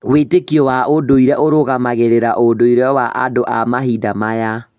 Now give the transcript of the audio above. Wĩĩtĩkio wa ũndũire ũrũgamagĩrĩra ũndũire wa andũ a mahinda maya.